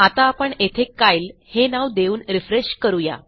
आता आपण येथे Kyleहे नाव देऊन रिफ्रेश करू या